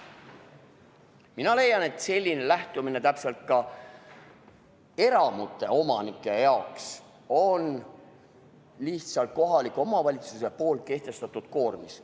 Mina leian, et selline lahendus on eramute omanike jaoks lihtsalt kohaliku omavalitsuse kehtestatud koormis.